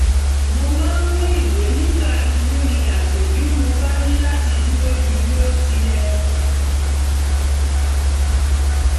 mo máa mú ìwé nígbà rìnrìn àjò bí mo bá ní láti dúró ju bí ó ti yẹ